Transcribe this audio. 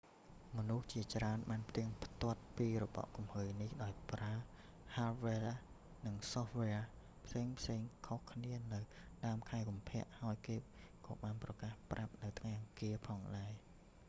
មនុស្សជាច្រើនបានផ្ទៀងផ្ទាត់ពីរបកគំហើញនេះ ដោយប្រើហាដវែរ hardware និងសូហ្វវែរ software ផ្សេងៗខុសគ្នានៅដើមខែកុម្ភៈ ហើយគេក៏បានប្រកាសប្រាប់នៅថ្ងៃអង្គារផងដែរ